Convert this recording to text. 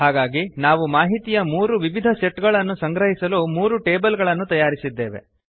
ಹಾಗಾಗಿ ನಾವು ಮಾಹಿತಿಯ ಮೂರು ವಿವಿಧ ಸೆಟ್ ಗಳನ್ನು ಸಂಗ್ರಹಿಸಲು ಮೂರು ಟೇಬಲ್ ಗಳನ್ನು ತಯಾರಿಸಿದ್ದೇವೆ